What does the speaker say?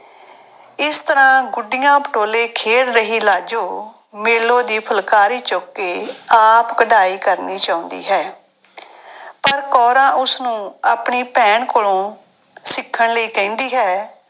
ਇਸ ਤਰ੍ਹਾਂ ਗੁੱਡੀਆਂ ਪਟੋਲੇ ਖੇਡ ਰਹੀ ਲਾਜੋ ਮੇਲੋ ਦੀ ਫੁਲਕਾਰੀ ਚੁੱਕ ਕੇ ਆਪ ਕਢਾਈ ਕਰਨੀ ਚਾਹੁੰਦੀ ਹੈ ਪਰ ਕੌਰਾਂ ਉਸਨੂੰ ਆਪਣੀ ਭੈਣ ਕੋਲੋਂ ਸਿੱਖਣ ਲਈ ਕਹਿੰਦੀ ਹੈ।